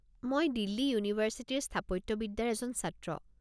মই দিল্লী ইউনিভাৰ্ছিটিৰ স্থাপত্যবিদ্যাৰ এজন ছাত্ৰ।